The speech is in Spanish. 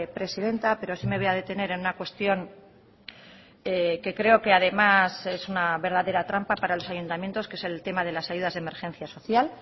presidenta pero sí me voy a detener en una cuestión que creo que además es una verdadera trampa para los ayuntamientos que es el tema de las ayudas de emergencia social